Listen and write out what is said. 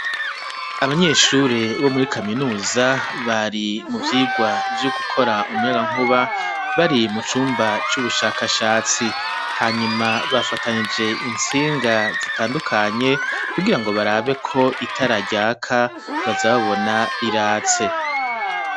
Abanyeshure bo muri kaminuza bari mu vyirwa vyo gukora umuyagankuba bari mu cumba c'ubushakashatsi hanyuma bafatanije insinga zitandukanye kugirango barabe ko itara ryaka bazababona riratse